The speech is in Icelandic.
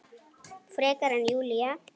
Frekar en Júlía.